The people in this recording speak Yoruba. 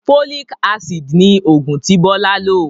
Folic-Acid ni oògùn tí Bọlá lò